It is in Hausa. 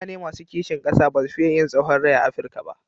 Mutane masu kisin ƙasa ba su fiye yin tsahon rai a Afirika ba.